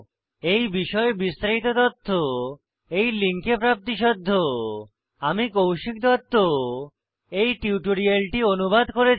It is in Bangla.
এই বিষয়ে বিস্তারিত তথ্য এই লিঙ্কে প্রাপ্তিসাধ্য httpspoken tutorialorgNMEICT Intro আমি কৌশিক দত্ত এই টিউটোরিয়ালটি অনুবাদ করেছি